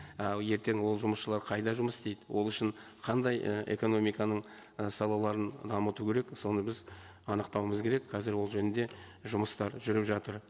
і ертең ол жұмысшылар қайда жұмыс істейді ол үшін қандай і экономиканың і салаларын дамыту керек соны біз анықтауымыз керек қазір ол жөнінде жұмыстар жүріп жатыр